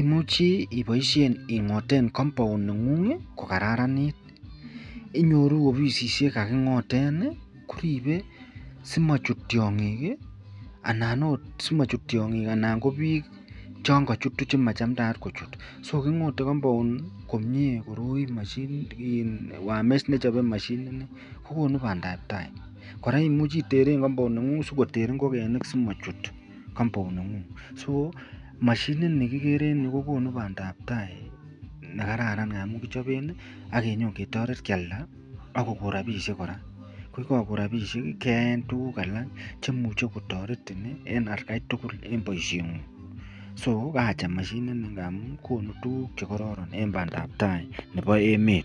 imuche iboishen ingoten compound nengung kokararanit inyoru ofishek kakingoten koribe asimochut tiong'ik anan oot simochut tiong'ik anan ko biik chon kochutu chon machamndaat kochut , so king'ote compound komie moshini nii wire mesh nechobe moshini nii kokonu bandab taii, koraa imuche iteren comound nengug sikoter ing'okenik simochut compound nengung, so mashinini kikere en yuu ko konuu bandab taii nekararan amun kichoben ak inyokialda ak kokoo rabishek kora, ko yekoko rabishek keyaen tukuk alak chemuche kotoretin en atkai tukul en boishengung, so kaacham mashinini amun konu tukuk chekororon en bandab taai nebo emet.